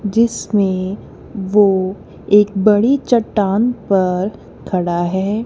जिसमें वो एक बड़ी चट्टान पर खड़ा है।